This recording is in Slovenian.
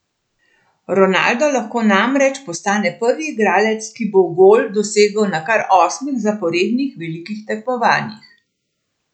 Ronaldo lahko namreč postane prvi igralec, ki bo gol dosegel na kar osmih zaporednih velikih tekmovanjih!